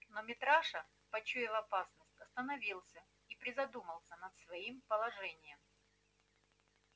но митраша почуяв опасность остановился и призадумался над своим положением